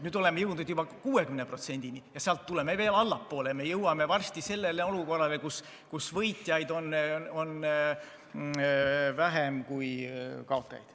Nüüd oleme jõudnud juba 60%-ni ja sealt tuleme veel allapoole, me jõuame varsti sellesse olukorda, kus võitjaid on vähem kui kaotajaid.